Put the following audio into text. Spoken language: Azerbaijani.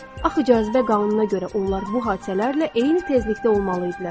Axı cazibə qanununa görə onlar bu hadisələrlə eyni tezlikdə olmalı idilər.